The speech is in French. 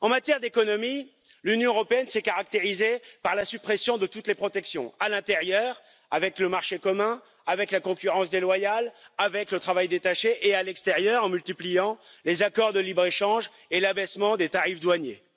En matière d'économie, l'Union européenne s'est caractérisée par la suppression de toutes les protections à l'intérieur, avec le marché commun, avec la concurrence déloyale, avec le travail détaché, et à l'extérieur, en multipliant les accords de libre échange et l'abaissement des tarifs douaniers.